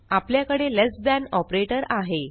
आपल्याकडे less than operator आहे